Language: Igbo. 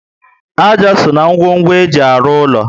Ájá so na ngwongwo eji arụ úlọ